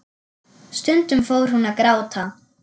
Stundum fór hún að gráta.